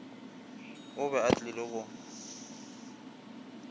o be a tlile go